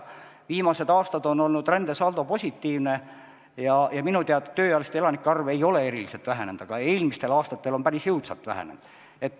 Viimased aastad on rändesaldo olnud positiivne ja minu teada tööealiste elanike arv ei ole eriliselt vähenenud, aga eelmistel aastatel see päris jõudsalt vähenes.